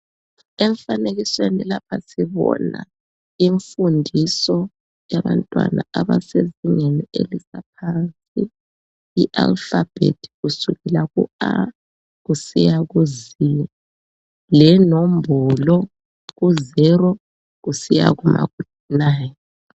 Emfanekisweni lapha sibona imfundiso yabantwana abasezingeni elingaphansi i alphabet kusukela ku A kusiya ku Z. Lenombolo kusukela ku 0 kusiya ku 9.